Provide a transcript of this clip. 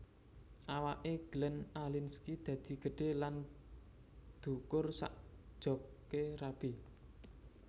Awak e Glenn Alinskie dadi gedhe lan dhukur sak jok e rabi